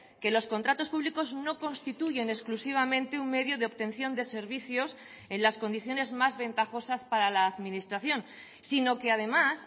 que los contratos públicos no constituyen exclusivamente un medio de obtención de servicios en las condiciones más ventajosas para la administración sino que además